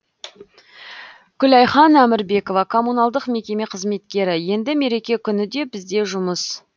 күләйхан әмірбекова коммуналдық мекеме қызметкері енді мереке күні де бізде жұмыс